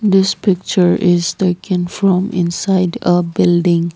this picture is taken from inside a building.